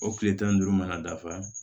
O kile tan ni duuru mana dafa